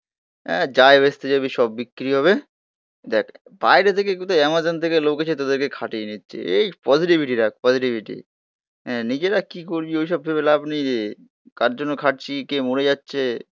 যাই ভেস্তে যাবি সব বিক্রি হবে দেখ বাইরে থেকে কোথাও অ্যামাজন থেকে লোক এসে তোদেরকে খাটিয়ে নিচ্ছে. এই পজিটিভিটি রাখ পজিটিভিটি হ্যাঁ নিজেরা কি করবি ওইসব ভেবে লাভ নেই রে. কার জন্য খাটছি? কে মরে যাচ্ছে.